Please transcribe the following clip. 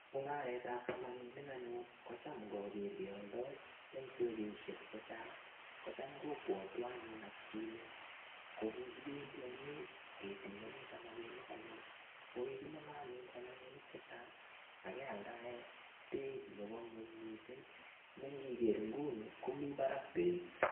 Mung'aretab samakinik anyun ko cham ngager keoldoi eng' sokeshek chechang' ko cham kobwotwo anyun atkinye kokikibendi oinet ketekani samakinik anyun ko kikinome anyun samakinik chechang' akealdae beit nebo ng'weny mising' nengiger nguni komi barak beit